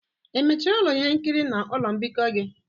Emechiri ụlọ ihe nkiri na ụlọ mbikọ gị?